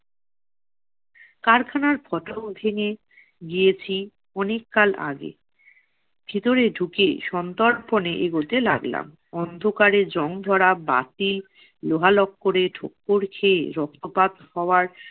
কারখানার ফটক অধীনে গিয়েছি অনেক কাল আগে। ভিতরে ঢুকে সন্দর্পনে এগোতে লাগলাম। অন্ধকারে জং ধরা বাতি, লোহা- লক্করে ঠোক্কর খেয়ে রক্তপাত হওয়ার-